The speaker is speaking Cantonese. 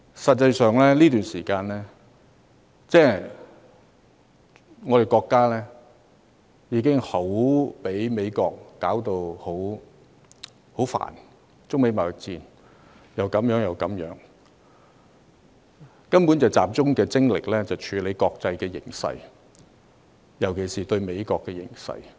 實際上，在這段時間，國家已被美國弄得暈頭轉向，中美貿易戰烽煙四起，以致國家必須集中精力處理國際形勢，尤其是美國事務。